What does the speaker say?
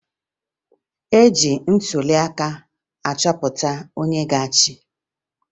E ji ntụliaka achọpụta onye ga-achị